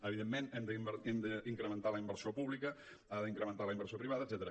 evidentment hem d’incrementar la inversió pública ha d’incrementar la inversió privada etcètera